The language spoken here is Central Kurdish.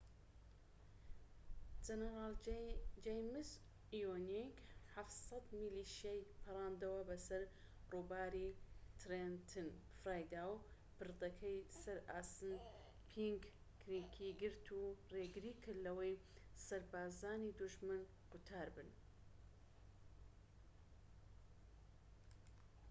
جەنەرال جەیمس ئیوینگ ٧٠٠ میلیشیای پەڕاندەوە بەسەر ڕووباری ترێنتن فێریدا و پردەکەی سەر ئاسەنپینک کریكی گرت و ڕێگری کرد لەوەی سەربازانی دوژمن قوتار بن